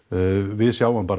við sjáum bara